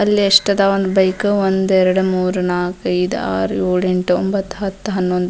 ಅಲ್ಲಿ ಎಷ್ಟದಾವ್ ಒಂದ್ ಬೈಕ್ ಒಂದ್ ಎರಡ್ ಮೂರು ನಾಕ್ ಐದ್ ಆರ್ ಏಳ್ ಎಂಟ್ ಒಂಭತ್ತು ಹತ್ತ್ ಹನ್ನೊಂದು.